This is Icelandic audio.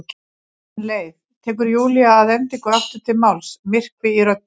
Ég fann leið, tekur Júlía að endingu aftur til máls, myrkvi í röddinni.